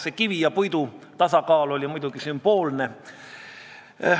See kivi ja puidu tasakaal on muidugi sümboolne.